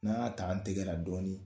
N'an y'a ta an tɛgɛra dɔɔni